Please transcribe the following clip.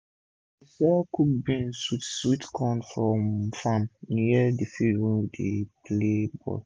she dey sell cooked beans with sweet corn from farm near d field wey dem dey play ball um